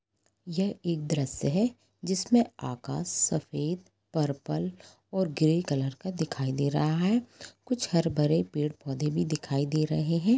यह एक द्रश्य हे जिसमे आकाश सफ़ेद पर्पल और ग्रे कलर का दिखाई दे रहा है कुछ हर भरे पेड़ पौधे भी दिखाई दे रहे है।